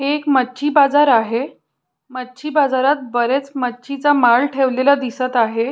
हे एक मच्छी बाजार आहे मच्छी बाजारात बरेच मच्छीचा माल ठेवलेला दिसत आहे.